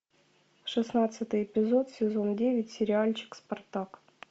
шестнадцатый эпизод сезон девять сериальчик спартак